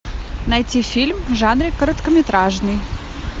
найти фильм в жанре короткометражный